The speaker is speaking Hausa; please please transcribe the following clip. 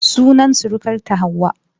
Sunan surukarta Hauwa.